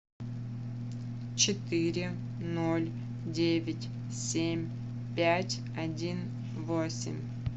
четыре ноль девять семь пять один восемь